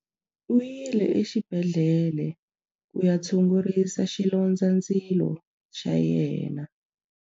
U yile exibedhlele ku ya tshungurisa xilondzandzilo xa yena.